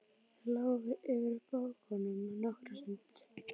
Þeir lágu yfir bókunum nokkra stund.